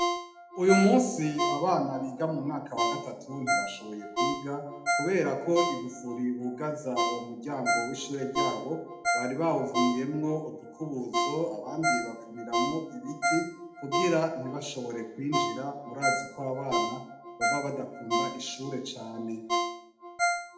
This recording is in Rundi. Uyu musi abana biga mumeaka wa gatatu ntibashoboye kwiga kuberako igufuri bugaza uwo muryango w'ishure ryabo bari bawuvuniyemwo udukubuzo, abandi bavuniramwo ibiti kugira ntibashobore kwinjira, murazi ko abana baba badakunda ishure cane.